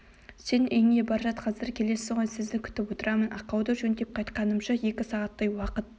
сен үйіңе бар жат қазір келесіз ғой сізді күтіп отырамын ақауды жөндеп қайтқанымша екі сағаттай уақыт